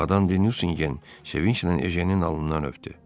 Madan Sevicdən heynin alnından öpdü.